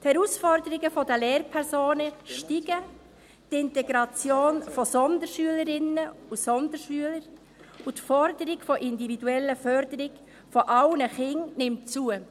Die Herausforderungen an die Lehrpersonen steigen, die Integration von Sonderschülerinnen und Sonderschüler sowie die Forderung nach individueller Förderung aller Kinder nehmen zu.